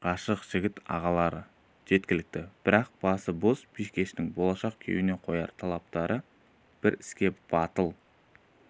ғашық жігіт ағалары жетерлік бірақ басы бос бикештің болашақ күйеуіне қояр талаптары бар іскер батыл